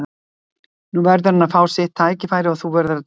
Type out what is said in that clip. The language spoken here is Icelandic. Nú verður hann að fá sitt tækifæri og þú verður að dæma í málinu.